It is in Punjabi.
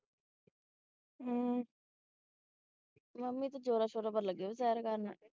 ਹੂ ਮੰਮੀ ਤੇ ਜ਼ੋਰਾਂ-ਸ਼ੋਰਾਂ ਨਾਲ ਲਗਿਆ ਸ਼ੇਰ ਕਰਨ